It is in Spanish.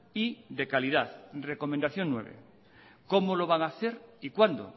y de calidad recomendación nueve cómo lo van hacer y cuándo